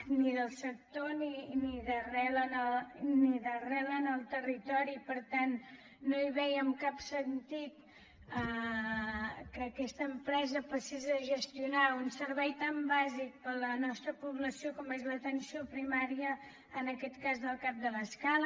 ni del sector ni d’arrel en el territori per tant no hi vèiem cap sentit que aquesta empresa passés a gestionar un servei tan bàsic per a la nostra població com és l’atenció primària en aquest cas del cap de l’escala